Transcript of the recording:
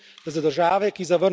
Gre za sporočilo ljudem v regiji.